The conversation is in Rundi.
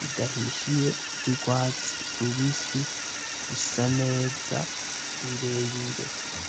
bidahishiye vy'urwatsi rubisi bisa neza birebire.